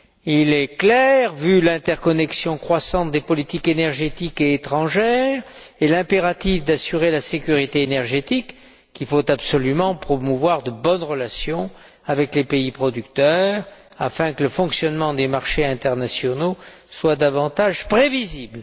Il est clair, vu l'interconnexion croissante des politiques énergétiques et étrangères, et l'impératif d'assurer la sécurité énergétique, qu'il faut absolument promouvoir de bonnes relations avec les pays producteurs afin que le fonctionnement des marchés internationaux soit davantage prévisible.